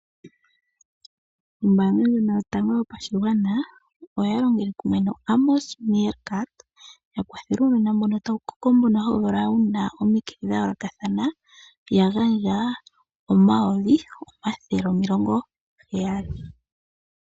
Ombaanga yotango yopashigwana oya longitha Amos Meerkat yakwathele uunona mbono tawu koko hawu kala wuna omikithi dha yooloka ya gandja oomilona omayovi gaheyali.